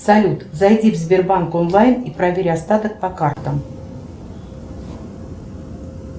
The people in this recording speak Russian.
салют зайди в сбербанк онлайн и проверь остаток по картам